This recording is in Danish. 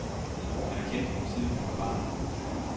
Han har kendt hende, siden hun var barn.